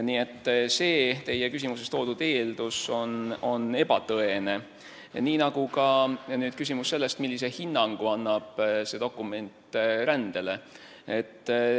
Nii et teie küsimuses toodud eeldus on ebatõene, nii nagu ka küsimus sellest, millise hinnangu annab see dokument rändele.